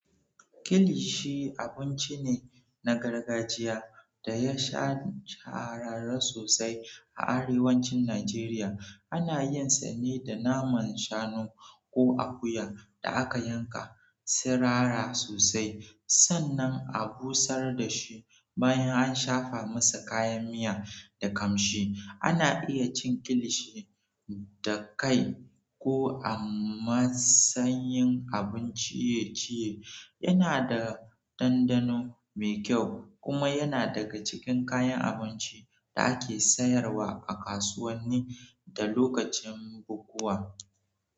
Kilishi abinci ne na gargajiya da ya shahara sosai a arewacin Najeriya. Ana yin sa ne da naman shanu ko akuya da aka yanka, sirara sosai, sannan a busar da shi bayan an shafa masa kayan miya da ƙamshi. Ana iya cin kilishi da kai ko a matsayin abun ciye-ciye. Yana da ɗanɗano mai kyau kuma yana daga cikin kayan abincin da ake sayarwa a kasuwanni da lokacin bukukuwa.